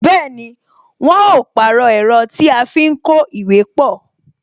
Bẹẹni, wọn ó pàrọ̀ ẹ̀rọ tí a fi ń kó ìwé pọ